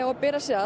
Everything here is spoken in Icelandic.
bera sig að